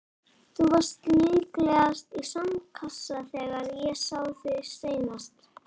Þú varst líklegast í sandkassa þegar ég sá þig seinast.